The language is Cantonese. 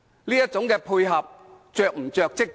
這種配合是否過於着跡？